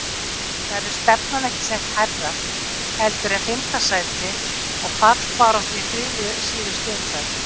Verður stefnan ekki sett hærra heldur en fimmta sæti og fallbaráttu í þriðju síðustu umferð?